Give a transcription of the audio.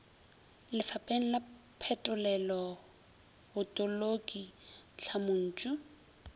lefapheng la phetolelo botoloki tlhamontšu